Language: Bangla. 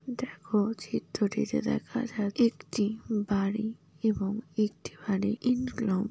দেখো চিত্রটিতে দেখা যাক একটি বাড়ি এবং একটি বাড়ি ইন --